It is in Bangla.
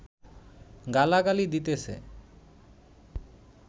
গালাগালি দিতেছে